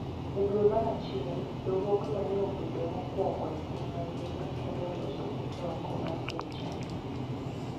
e dwe mar achiel, riwruogno ne obedo mokwongo e piny mangima kendo e loso kute oko mar piny China